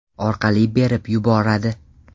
orqali berib yuboradi.